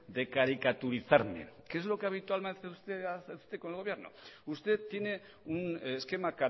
de caricaturizarme que es lo que habitualmente hace usted con el gobierno usted tiene un esquema